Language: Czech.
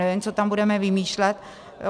Nevím, co tam budeme vymýšlet.